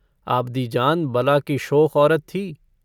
आबदीजान बला की शोख औरत थी।